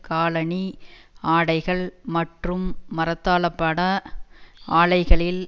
காலணி ஆடைகள் மற்றும் மரத்தாளபாட ஆலைகளில்